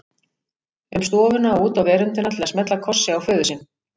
um stofuna og út á veröndina til að smella kossi á föður sinn.